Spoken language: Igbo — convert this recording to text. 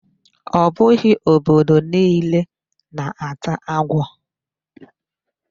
Ọ bụghị obodo niile na-ata agwo